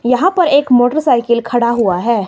यहां पर एक मोटरसाइकिल खड़ा हुआ है।